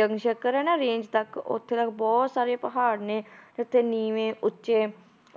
ਹੈ range ਤੱਕ ਉੱਥੇ ਤੱਕ ਬਹੁਤ ਸਾਰੇ ਪਹਾੜ ਨੇ ਤੇੇ ਉੱਥੇ ਨੀਵੇਂ, ਉੱਚੇ,